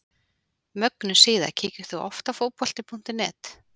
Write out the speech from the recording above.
Mögnuð síða Kíkir þú oft á Fótbolti.net?